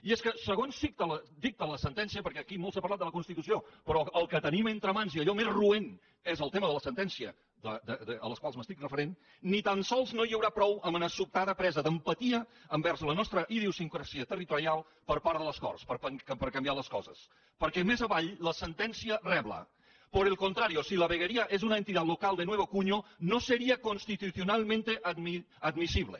i és que segons dicta la sentència perquè aquí molt s’ha parlat de la constitució però el que tenim entre mans i allò més roent és el tema de les sentències a les quals m’estic referint ni tan sols no hi haurà prou amb una sobtada presa d’empatia envers la nostra idiosincràsia territorial per part de les corts per canviar les coses perquè més avall la sentència rebla por el contrario si la veguería es una entidad local de nuevo cuño no sería constitucionalmente admisible